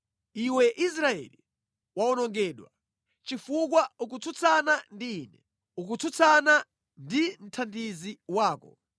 “Iwe Israeli, wawonongedwa, chifukwa ukutsutsana ndi Ine, ukutsutsana ndi mthandizi wako.